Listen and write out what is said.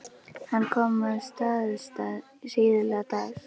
Hann kom að Staðarstað síðla dags.